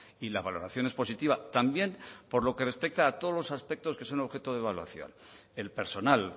y la valoración es positiva también por lo que respecta a todos los aspectos que son objeto de evaluación el personal